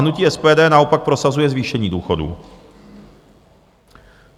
Hnutí SPD naopak prosazuje zvýšení důchodů.